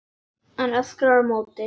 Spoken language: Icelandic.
Hún öskrar á móti.